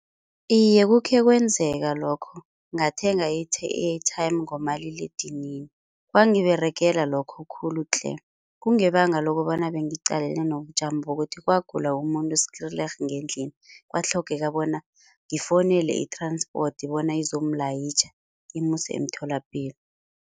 Iye kukhe kwenzeka lokho ngathenga i-airtime ngomaliledinini kwangiberegela lokho khulu tle. Kungebanga lokobana bengiqaleni nobujamo bokuthi kwagula umuntu skielik ngendlini kwatlhogeka bona ngifowunele i-transport bona izomlayitjha imuse emtholapilo.